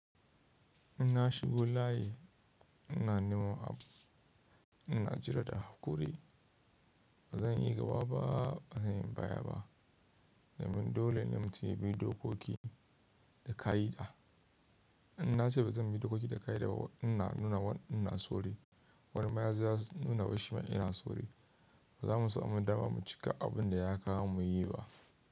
In na shigo layi, ina nema abu, ina jira da hakuri. Ba zan yi gaba ba, ba zan yi baya ba. Domin dole ne mutun ya bi dokoki da ka'ida. In na ce ba zan bi dokoki da ka'ida ba, ina sauri. Wani ma yazo ya nuna wai shima ina sauri. Ba za mu samu dama mu cika abin da ya kawo mu yi ba.